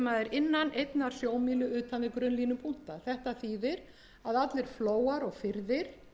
innan einnar sjómílu utan við grunnlínupunkta þetta þýðir að allir flóar